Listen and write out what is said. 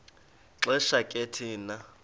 xesha ke thina